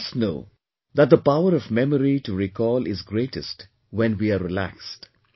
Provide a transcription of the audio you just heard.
And you must know that the power of memory to recall is greatest when we are relaxed